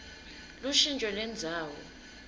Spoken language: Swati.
lushintjo lendzawo